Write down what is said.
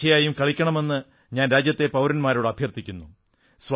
തീർച്ചയായും കളിക്കണമെന്ന് ഞാൻ രാജ്യത്തെ പൌരന്മാരോട് അഭ്യർഥിക്കുന്നു